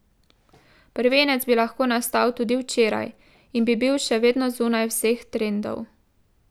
Prvenec bi lahko nastal tudi včeraj in bi bil še vedno zunaj vseh trendov.